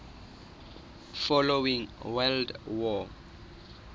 following world war